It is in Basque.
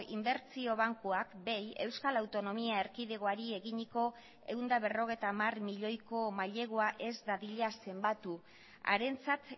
inbertsio bankuak bei euskal autonomia erkidegoari eginiko ehun eta berrogeita hamar milioiko mailegua ez dadila zenbatu harentzat